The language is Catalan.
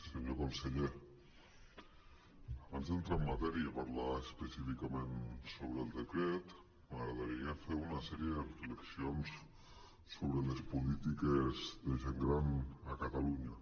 senyor conseller abans d’entrar en matèria i parlar es·pecíficament sobre el decret m’agradaria fer una sèrie de reflexions sobre les políti·ques de gent gran a catalunya